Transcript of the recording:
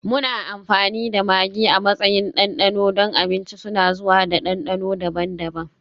Muna amfani da maggi a matsayin ɗanɗano don abinci, suna zuwa da dandano daban-daban.